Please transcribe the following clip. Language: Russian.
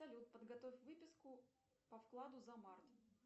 салют подготовь выписку по вкладу за март